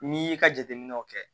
N'i y'i ka jateminɛw kɛ